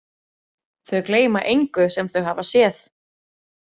Þau gleyma engu sem þau hafa séð.